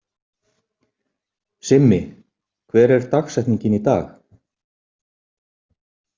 Simmi, hver er dagsetningin í dag?